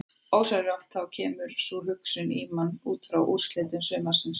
Ósjálfrátt þá kemur sú hugsun í mann útfrá úrslitum sumarsins.